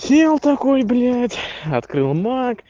сел такой блять открыл мак